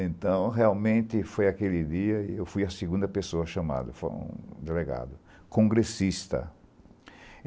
Então, realmente, foi aquele dia e eu fui a segunda pessoa chamada, foi um delegado, congressista.